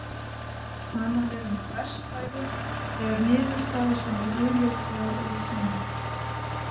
Talað er um þverstæðu þegar niðurstaða sem er augljóslega ósönn.